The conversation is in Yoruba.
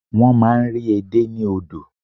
Wọ́n máa n rí edé ní odò